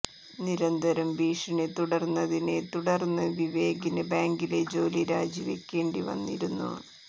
നിരന്തരം ഭീഷണി തുടര്ന്നതിനെ തുടര്ന്ന് വിവേകിന് ബാങ്കിലെ ജോലി രാജി വയ്ക്കേണ്ടി വന്നിരുന്നു